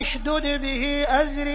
اشْدُدْ بِهِ أَزْرِي